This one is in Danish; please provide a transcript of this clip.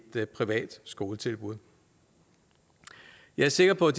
privat skoletilbud jeg er sikker på at